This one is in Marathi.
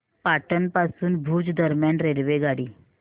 पाटण पासून भुज दरम्यान रेल्वेगाडी